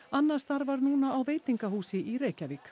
anna starfar núna á veitingahúsi í Reykjavík